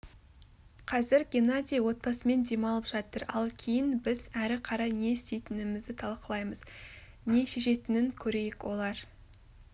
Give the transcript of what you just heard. қазір геннадий отбасымен демалып жатыр ал кейін біз әрі қарай не істейтінімізді талқылаймыз нешешетінін көрейік олар